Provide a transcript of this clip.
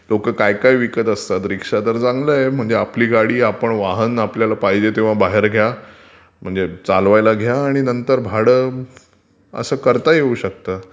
लोक काय काय विकत असतात. रीक्षा तर चांगलं आहे. आपली गाडी आपलं वाहन आहे पाहिजे तेव्हा बाहेर घ्या म्हणजे चालवायला घ्या आणि नंतर भाडं असं करता येऊ शकतं.